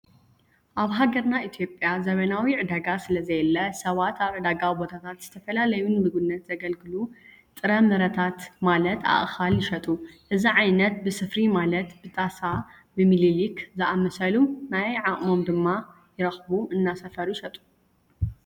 አብ ሃገርና ኢትዮጵያ ዘበናዊ ዕዳጋ ስለዘየለ ሰባት ኣብ ዕዳጋ ቦታታት ዝተፈላለዩ ንምግብነት ዘገልግሉ ጥረ ጥረታት ማለት ኣእኻል ይሸጡ። እዚ ዓይነት ብስፍሪ ማለት ብጣሳ፣ ብሚሊሊክ ዝአምሰሉ ናይ ዓቅሞም ድማ ይረኽቡ እናሰፈሩ ይሸጡ።